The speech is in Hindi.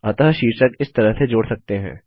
अतः शीर्षक इस तरह से जोड़ सकते हैं